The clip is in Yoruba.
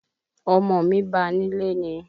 Ọmọ mi ba nílé ni